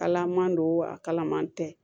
Kalaman don a kalaman tɛ